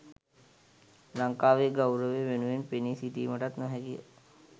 ලංකාවේ ගෞරවය වෙනුවෙන් පෙනී සිටීමටත් නොහැකිය.